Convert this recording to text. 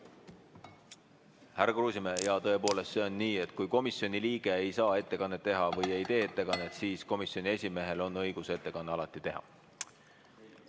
Härra Kruusimäe, jaa, tõepoolest, see on nii, et kui komisjoni liige ei saa ettekannet teha või ei tee ettekannet, siis komisjoni esimehel on alati õigus ettekanne teha.